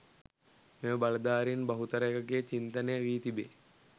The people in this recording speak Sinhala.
මෙම බලධාරීන් බහුතරයකගේ චින්තනය වී තිබේ.